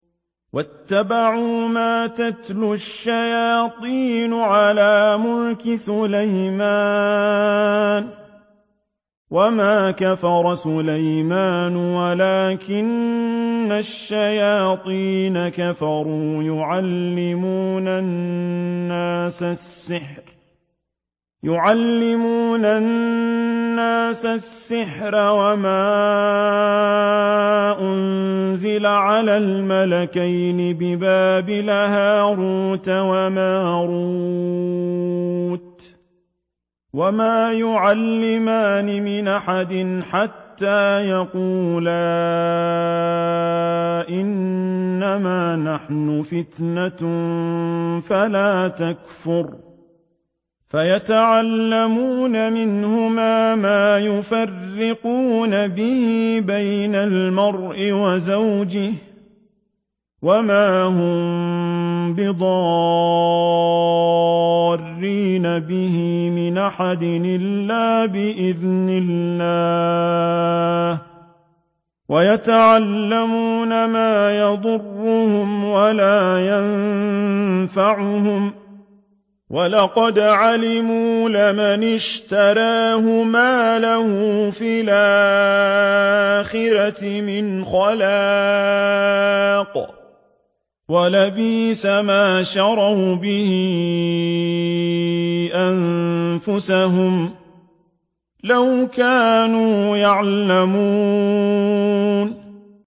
وَاتَّبَعُوا مَا تَتْلُو الشَّيَاطِينُ عَلَىٰ مُلْكِ سُلَيْمَانَ ۖ وَمَا كَفَرَ سُلَيْمَانُ وَلَٰكِنَّ الشَّيَاطِينَ كَفَرُوا يُعَلِّمُونَ النَّاسَ السِّحْرَ وَمَا أُنزِلَ عَلَى الْمَلَكَيْنِ بِبَابِلَ هَارُوتَ وَمَارُوتَ ۚ وَمَا يُعَلِّمَانِ مِنْ أَحَدٍ حَتَّىٰ يَقُولَا إِنَّمَا نَحْنُ فِتْنَةٌ فَلَا تَكْفُرْ ۖ فَيَتَعَلَّمُونَ مِنْهُمَا مَا يُفَرِّقُونَ بِهِ بَيْنَ الْمَرْءِ وَزَوْجِهِ ۚ وَمَا هُم بِضَارِّينَ بِهِ مِنْ أَحَدٍ إِلَّا بِإِذْنِ اللَّهِ ۚ وَيَتَعَلَّمُونَ مَا يَضُرُّهُمْ وَلَا يَنفَعُهُمْ ۚ وَلَقَدْ عَلِمُوا لَمَنِ اشْتَرَاهُ مَا لَهُ فِي الْآخِرَةِ مِنْ خَلَاقٍ ۚ وَلَبِئْسَ مَا شَرَوْا بِهِ أَنفُسَهُمْ ۚ لَوْ كَانُوا يَعْلَمُونَ